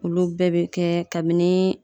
Olu bɛɛ be kɛ kabini